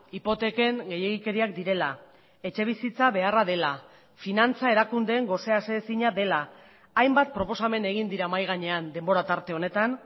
hipoteken gehiegikeriak direla etxebizitza beharra dela finantza erakundeen gose aseezina dela hainbat proposamen egin dira mahai gainean denbora tarte honetan